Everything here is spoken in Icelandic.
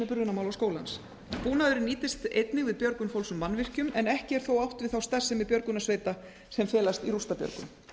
brunamálaskólans búnaðurinn nýtist einnig við björgun fólks úr mannvirkjum en ekki er þó átt við þá starfsemi björgunarsveita sem felst í rústabjörgun